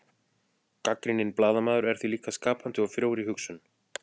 gagnrýninn blaðamaður er því líka skapandi og frjór í hugsun